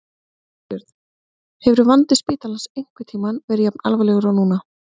Þorbjörn: Hefur vandi spítalans einhvern tímann verið jafn alvarlegur og núna?